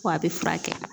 Ko a bɛ furakɛ